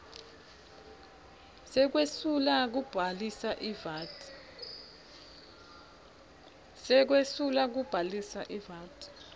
sekwesula kubhalisa ivat